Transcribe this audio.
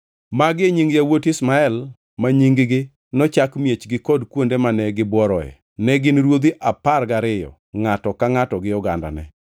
Magi e nying yawuot Ishmael ma nying-gi nochak miechgi kod kuonde mane gibworoe, ne gin ruodhi apar gariyo ngʼato ka ngʼato gi ogandane.